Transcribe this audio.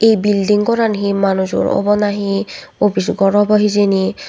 building goran he manujor obo na he opijo gor obo hijeni.